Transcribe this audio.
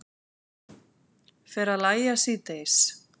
Fer að lægja síðdegis